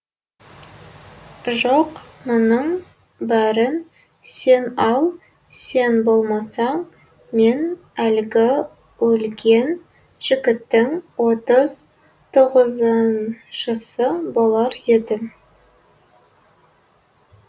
жоқ мұның бәрін сен ал сен болмасаң мен әлгі өлген жігіттің отыз тоғызыншысы болар едім